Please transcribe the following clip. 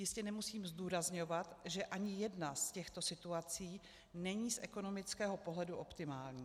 Jistě nemusím zdůrazňovat, že ani jedna z těchto situací není z ekonomického pohledu optimální.